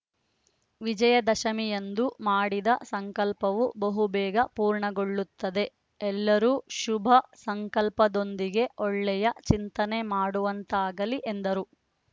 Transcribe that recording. ವಿಜಯದಶಮಿಯಂದು ಮಾಡಿದ ಸಂಕಲ್ಪವು ಬಹು ಬೇಗ ಪೂರ್ಣಗೊಳ್ಳುತ್ತದೆ ಎಲ್ಲರೂ ಶುಭ ಸಂಕಲ್ಪದೊಂದಿಗೆ ಒಳ್ಳೆಯ ಚಿಂತನೆ ಮಾಡುವಂತಾಗಲಿ ಎಂದರು